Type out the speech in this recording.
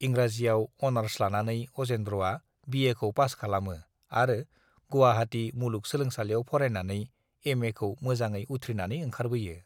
इंराजीयाव अनार्स लानानै अजेन्द्रआ बिएखौ पास खालामो आरो गुवाहाटि मुलुग सोलोंसालियाव फरायनानै एमएखौ मोजाङै उथ्रिनानै ओंखारबोयो।